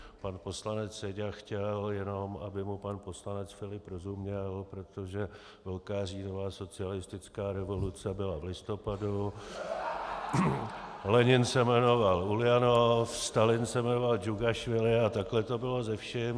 Pan poslanec Seďa chtěl jenom, aby mu pan poslanec Filip rozuměl, protože Velká říjnová socialistická revoluce byla v listopadu , Lenin se jmenoval Uljanov, Stalin se jmenoval Džugašvili a takhle to bylo se vším.